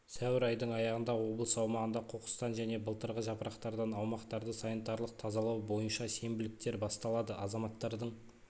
сәуір айдың аяғында облыс аумағында қоқыстан және былтырғы жапырақтардан аумақтарды санитарлық тазалау бойынша сенбіліктер басталады азаматтардың